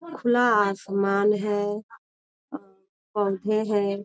खुला आसमान है पौधे है।